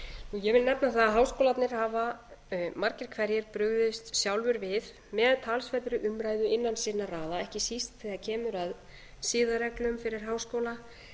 ég vil nefna það að háskólarnir hafa margir hverjir brugðist sjálfir við með talsverðri umræðu innan sinna raða ekki síst þegar kemur að siðareglum fyrir háskóla